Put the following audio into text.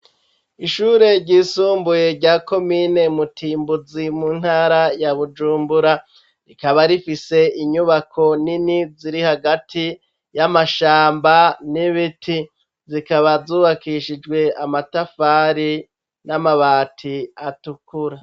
Ishure ryisumbuye rya komine Mutimbuzi, mu ntara ya Bujumbura, rikaba rifise inyubako nini ziri hagati y'amashamba n'ibiti zikaba zubakishijwe amatafari n'amabati atukura.